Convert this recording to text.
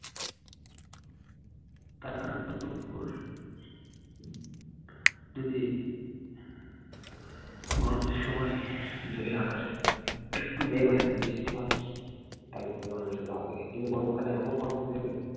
তারপর যদি গরমের সময় যদি আকাশে একটু মেঘ হয় একটু বৃষ্টি হয়, তাহলে তো মানুষের ভালোই। কিন্তু গরমকালে এমন গরম দেবে-